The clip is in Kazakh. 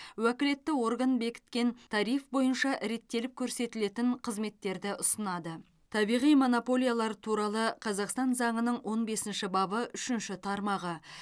уәкілетті орган бекіткен тариф бойынша реттеліп көрсетілетін қызметтерді ұсынады табиғи монополиялар туралы қазақстан заңының он бесінші бабы үшінші тармағы